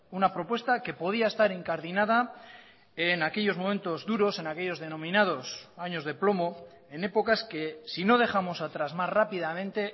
una propuesta que podía estar incardinada en aquellos momentos duros en aquellos denominados años de plomo en épocas que si no dejamos atrás más rápidamente